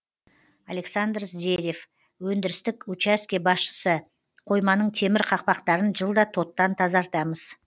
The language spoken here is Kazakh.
александр здерев өндірістік участке басшысы қойманың темір қақпақтарын жылда тоттан тазартамыз